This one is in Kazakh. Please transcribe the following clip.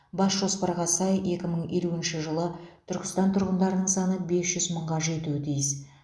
бас жоспарға сай екі мың елуінші жылы түркістан тұрғындарының саны бес жүз мыңға жетуі тиіс